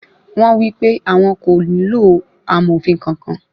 Wọ́n wípé àwọn kò nílò amòfin kankan.